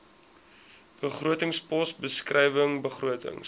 begrotingspos beskrywing begrotings